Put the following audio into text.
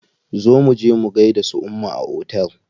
Zo muje mu gaida su umma a otel.